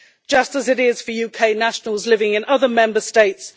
just as it is for UK nationals living in other Member States.